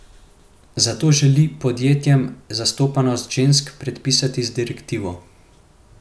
Zato želi podjetjem zastopanost žensk predpisati z direktivo.